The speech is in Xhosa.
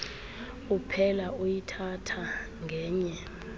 uphela uyithatha ngenye